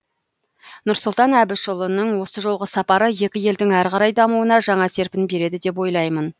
нұрсұлтан әбішұлының осы жолғы сапары екі елдің әрі қарай дамуына жаңа серпін береді деп ойлаймын